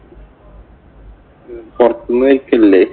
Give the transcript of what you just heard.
പൊറത്ത് നിന്ന് കഴിക്കലില്ലേ?